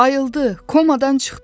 Ayıldı, komadan çıxdı.